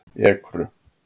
Ekru